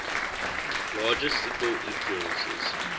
largest single influences